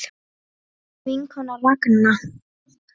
Þín vinkona Ragna.